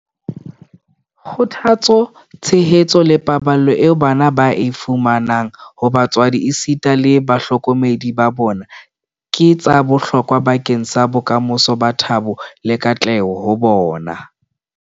Kgothatso, tshehetso le paballo eo bana ba e fumanang ho batswadi esita le bahlokomedi ba bona ke tsa bohlokwa bakeng sa bokamoso ba thabo le katleho ho bona.